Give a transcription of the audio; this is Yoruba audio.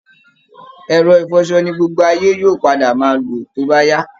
Ẹ̀rọ ìfọṣọ ni gbogbo ayé yóò padà máa lò tóbá yá